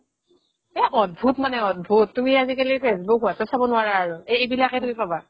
এ অদ্ভুত মানে অদ্ভুত তুমি আজিকালি ফেচবুক , হোৱাইট্চেপ চাব নোৱাৰা আৰু এই এইবিলাকে তুমি পাবা